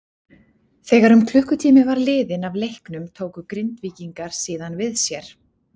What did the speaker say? Þegar um klukkutími var liðinn af leiknum tóku Grindvíkingar síðan við sér.